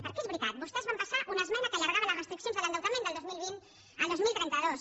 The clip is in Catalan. perquè és veritat vostès van passar una esmena que allargava les restriccions de l’endeutament del dos mil vint al dos mil trenta dos